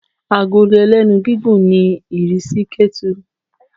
agolo ẹlẹ́nu gigún ní irisí ketú